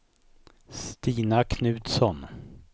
Stina Knutsson